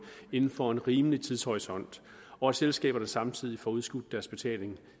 inden for en rimelig tidshorisont og at selskaberne samtidig får udskudt deres betalinger i